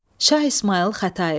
Şah İsmayıl Xətai.